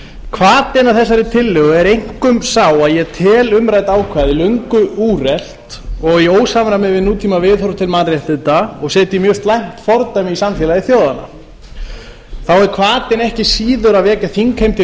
hvatinn að þessari tillögu er einkum sá að ég tel umrædd ákvæði löngu úrelt og í ósamræmi við nútímaviðhorf til mannréttinda og setji mjög slæmt fordæmi í samfélagi þjóðanna þá er hvatinn ekki síður að vekja þingheim til